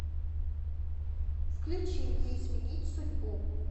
включи не изменить судьбу